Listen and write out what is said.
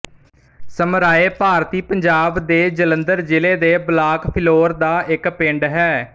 ਸਮਰਾਏ ਭਾਰਤੀ ਪੰਜਾਬ ਦੇ ਜਲੰਧਰ ਜ਼ਿਲ੍ਹੇ ਦੇ ਬਲਾਕ ਫਿਲੌਰ ਦਾ ਇੱਕ ਪਿੰਡ ਹੈ